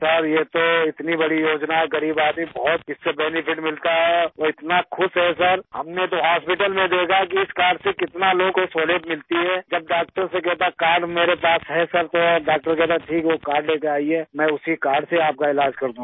सिर ये तो इतनी बड़ी योजना है गरीब आदमी बहुत इस से बेनेफिट मिलता है और इतना खुश हैं सिर हमने तो हॉस्पिटल में देखा है कि इस कार्ड से कितना लोगों को सहूलियत मिलती है जब डॉक्टर से कहता है कार्ड मेरे पास है सिर तो डॉक्टर कहता है ठीक वो कार्ड लेकर आईये मैं उसी कार्ड से आप का इलाज़ कर दूँगा